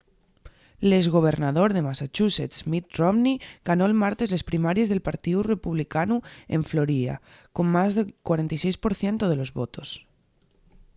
l’ex gobernador de massachusetts mitt romney ganó’l martes les primaries del partíu republicanu en florida con más del 46 por cientu de los votos